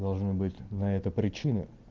должна быть на это причины